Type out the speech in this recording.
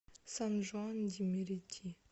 сан жуан ди мерити